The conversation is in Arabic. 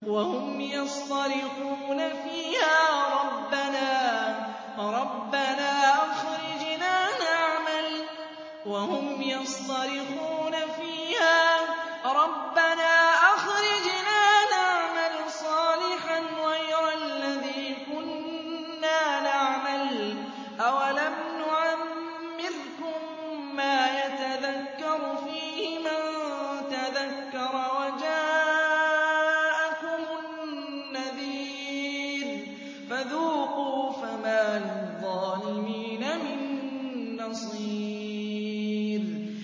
وَهُمْ يَصْطَرِخُونَ فِيهَا رَبَّنَا أَخْرِجْنَا نَعْمَلْ صَالِحًا غَيْرَ الَّذِي كُنَّا نَعْمَلُ ۚ أَوَلَمْ نُعَمِّرْكُم مَّا يَتَذَكَّرُ فِيهِ مَن تَذَكَّرَ وَجَاءَكُمُ النَّذِيرُ ۖ فَذُوقُوا فَمَا لِلظَّالِمِينَ مِن نَّصِيرٍ